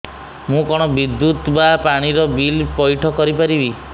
ମୁ କଣ ବିଦ୍ୟୁତ ବା ପାଣି ର ବିଲ ପଇଠ କରି ପାରିବି